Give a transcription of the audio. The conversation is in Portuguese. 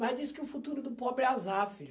Mas diz que o futuro do pobre é azar, filha.